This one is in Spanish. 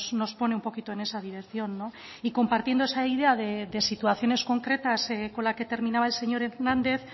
nos pone un poquito en esa dirección y compartiendo esa idea de situaciones concretas con la que terminaba el señor hernández